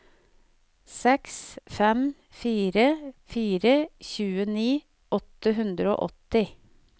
seks fem fire fire tjueni åtte hundre og åtti